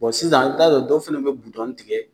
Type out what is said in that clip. Bon sisan n t'a dɔn dɔw fana bɛ budɔn tigɛ.